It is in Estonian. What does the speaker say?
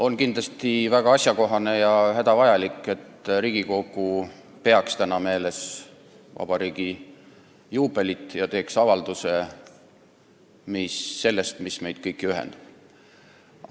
On kindlasti väga asjakohane ja hädavajalik, et Riigikogu peaks täna meeles vabariigi juubelit ja teeks avalduse selle kohta, mis meid kõiki ühendab.